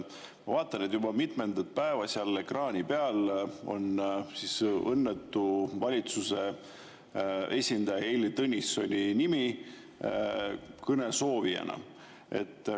Ma vaatan, et juba mitmendat päeva seal ekraani peal on õnnetu valitsuse esindaja Heili Tõnissoni nimi kõne soovijana.